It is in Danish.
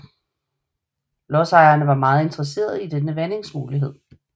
Lodsejerne var meget interesserede i denne vandingsmulighed